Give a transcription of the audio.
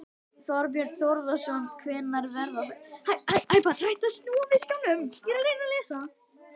Þorbjörn Þórðarson: Hvenær verða þær?